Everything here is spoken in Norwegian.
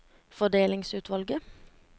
fordelingsutvalget